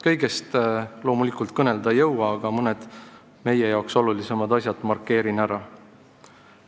Kõigest loomulikult kõnelda ei jõua, aga mõned meie jaoks olulisemad teemad markeerin ära.